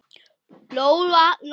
Lóa-Lóa gaf þeim stundum arfa.